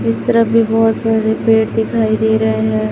इस तरफ भी बहोत बड़े पेड़ दिखाई दे रहे हैं।